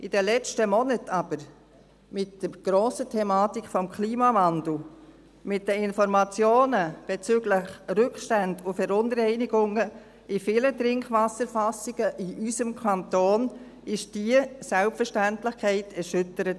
In den letzten Monaten aber, mit der grossen Thematik des Klimawandels, mit den Informationen bezüglich der Rückstände und Verunreinigungen in vielen Trinkwasserfassungen in unserem Kanton, wurde diese Selbstverständlichkeit erschüttert.